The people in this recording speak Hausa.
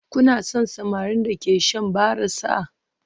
Kuna son samarin da ke shan barasa?